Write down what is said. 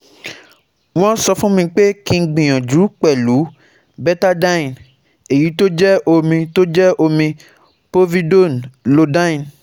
Won sofunmi pe ki gbiyanju pelu Betadine, eyi to je omi to je omi Povidone Iodine